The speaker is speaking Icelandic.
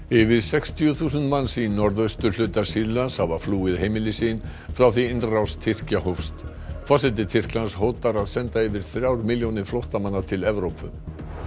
yfir sextíu þúsund manns í norðausturhluta Sýrlands hafa flúið heimili sín frá því innrás Tyrkja hófst forseti Tyrklands hótar að senda yfir þrjár milljónir flóttamanna til Evrópu